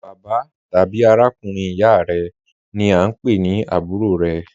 Bàbạ́ tàbí àràkùnrin ìyá rẹ ni a ń pẹ̀ ní àbúrò rẹ.